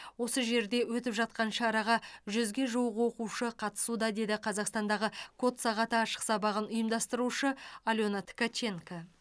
осы жерде өтіп жатқан шараға жүзге жуық оқушы қатысуда деді қазақстандағы код сағаты ашық сабағын ұйымдастырушы алена ткаченко